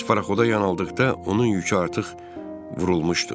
Biz parxoda yan aldıqda onun yükü artıq vurulmuşdu.